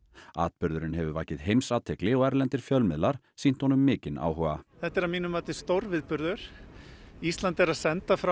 atburðurinn hefur vakið heimsathygli og erlendir fjölmiðlar sýnt honum mikinn áhuga þetta er að mínu mati stórviðburður ísland er að senda frá